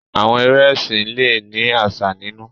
Àwọn eré ẹsìn le ni àsà nínú.